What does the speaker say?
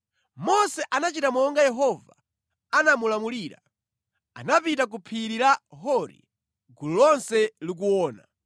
Mose anachita monga Yehova anamulamulira: Anapita ku phiri la Hori gulu lonse likuona.